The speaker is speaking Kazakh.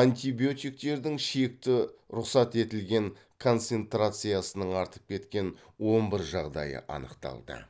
антибиотиктердің шекті рұқсат етілген концентрациясының артып кеткен он бір жағдайы анықталды